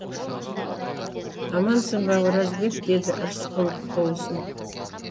амансың ба оразбек деді рысқұлов қол ұсынып